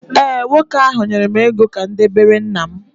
ee, nwoke ahụ nyere m ego ka m debere nna m